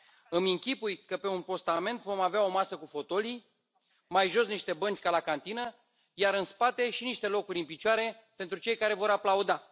Îmi închipui că pe un postament vom avea o masă cu fotolii, mai jos niște bănci ca la cantină, iar în spate și niște locuri în picioare pentru cei care vor aplauda.